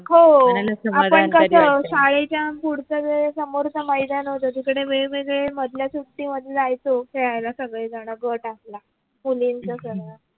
हो आपण कस शाळेच्या पुढच्या वेळ समोरचा मैदान होत तिकडे वेग वेगळे मधल्या सुट्टी मध्ये जायचो खेळायलासगळे जण गट आपला मुलींचा सर्व